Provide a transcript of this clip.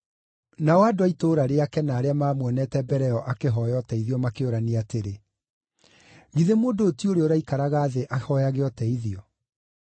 Nao andũ a itũũra rĩake na arĩa maamuonete mbere ĩyo akĩhooya ũteithio makĩũrania atĩrĩ, “Githĩ mũndũ ũyũ ti ũrĩa ũraikaraga thĩ ahooyage ũteithio?”